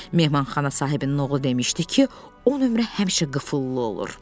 Mehmanxana sahibinin oğlu demişdi ki, o nömrə həmişə qıfıllı olur.